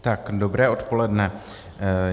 Tak dobré odpoledne.